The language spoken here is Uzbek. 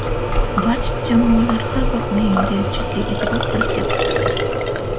Barcha jamoalar har bir o‘yinga jiddiy e’tibor qaratyapti.